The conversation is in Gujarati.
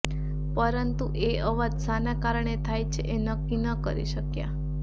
પરંતુ એ અવાજ શાના કારણે થાય છે એ નક્કી ન કરી શક્યા